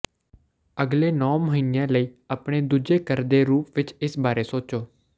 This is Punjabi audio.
ਅਗਲੇ ਨੌਂ ਮਹੀਨਿਆਂ ਲਈ ਆਪਣੇ ਦੂਜੇ ਘਰ ਦੇ ਰੂਪ ਵਿੱਚ ਇਸ ਬਾਰੇ ਸੋਚੋ